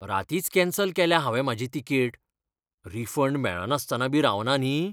रातींच cancel केल्या हांवें म्हाजी तिकेट. रिफंड मेळनासतनाबी रावना न्ही?